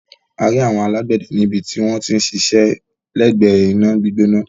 A rí àwọn alágbẹ̀dẹ níbi tí wọ́n ti ń ṣiṣẹ́ lẹ́gbẹ̀ẹ́ iná gbígbóná.